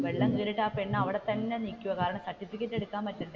വെള്ളം കയറിയിട്ട് ആ പെണ്ണ് അവിടെ തന്നെ നിക്കുവാ കാരണം സർട്ടിഫിക്കറ്റ് എടുക്കാൻ പറ്റണ്ടേ,